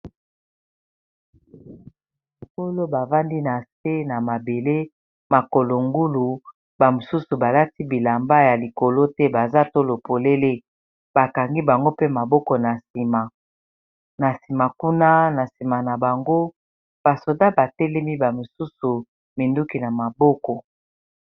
Nato bavandi na se na mabele makolo ngulu bamosusu balati bilamba ya likolo te baza tolo polele bakangi bango mpe maboko na nsima na nsima kuna na nsima na bango basoda batelemi bamosusu minduki na maboko